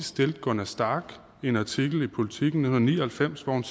stillede gunna stack i en artikel i politiken i nitten ni og halvfems hvor hun